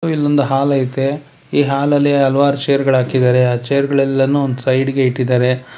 ಇಲ್ಲೊಂದು ಹಾಲ್ ಐತೆ ಈ ಹಾಲ ಲಿ ಹಲವಾರು ಚೇರ್ ಗಳ ಹಾಕಿದಾರೆ ಚೇರ್ ಗಳೆಲ್ಲನು ಒಂದ್ ಸೈಡ್ ಗೆ ಇಟ್ಟಿದಾರೆ.